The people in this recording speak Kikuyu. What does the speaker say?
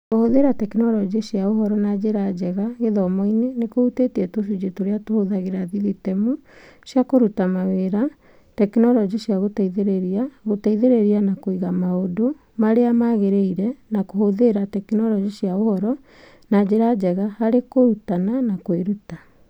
Kũhũthĩra tekinoronjĩ cia ũhoro na njĩra njega gĩthomo-inĩ nĩ kũhutĩtie tũcunjĩ tũrĩa tũhũthagĩra thithitemu cia kũruta mawĩra, tekinoronjĩ cia gũteithĩrĩria, gũteithĩrĩria na kũiga maũndũ marĩa magĩrĩire, na kũhũthĩra tekinoronjĩ cia ũhoro na njĩra njega harĩ kũrutana na kwĩruta.